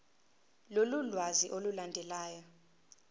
lolu lwazi olulandelayo